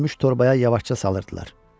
Gəlimmiş torbaya yavaşca salırdılar.